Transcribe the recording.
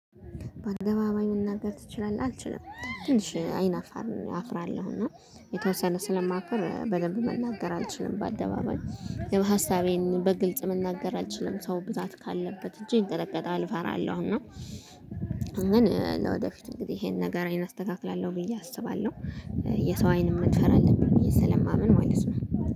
በአደባባይ መናገር ትችላለህ? አልችልም ትንሽ አይናፋር አፍራለሁና የተወሰነ ስለማፍር በደንብ መናገር አልችልም በአደባባይ የሀሳቤን በግልጽ መናገር አልችልም። ሰው ብዛት ካለበት እጄ ይንጠቀጣል እፈራለሁ እና። ግን ለወደፊት እንግዲህ ይሄን ነገሬን አስተካክላለሁ ብዬ አስባለሁ። የሰው አይን መድፈር አለብኝ ብዬ ስለማምን ማለት ነው